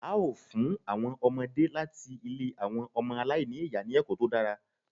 A ó fún àwọn ọmọdé láti ilé àwọn ọmọ aláìní ìyá ní ẹ̀kọ́ tó dára